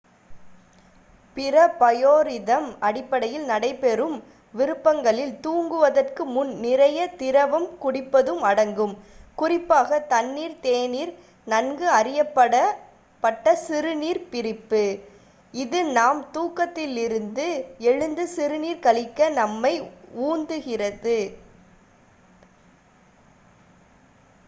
பிற பயோரிதம்-அடிப்படையில் நடைபெறும் விருப்பங்களில் தூங்குவதற்கு முன் நிறைய திரவம் குறிப்பாக தண்ணீர் தேநீர் நன்கு அறியப்பட்ட சிறுநீர்ப் பிரிப்பு குடிப்பதும் அடங்கும் இது நாம் தூக்கத்திலிருந்து எழுந்து சிறுநீர் கழிக்க நம்மை உந்துகிறது